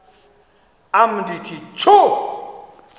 am ndithi tjhu